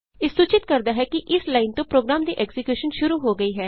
ਇਹ ਸੂਚਿਤ ਕਰਦਾ ਹੈ ਕਿ ਇਸ ਲਾਈਨ ਤੋਂ ਪ੍ਰੋਗਰਾਮ ਦੀ ਐਕਜ਼ੀਕਿਯੂਸ਼ਨ ਸ਼ੁਰੂ ਹੋ ਗਈ ਹੈ